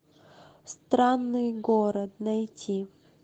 странный город найти